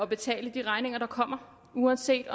betale de regninger der kommer uanset